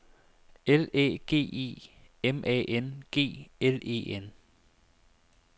L Æ G E M A N G L E N